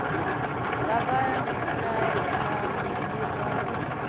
ba ba laelang le ba